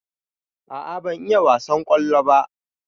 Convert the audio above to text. A'a ban iya wasan kwallo ba.